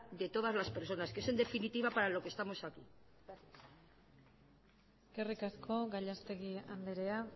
de todas las personas que es en definitiva para lo que estamos aquí eskerrik asko gallastegui andrea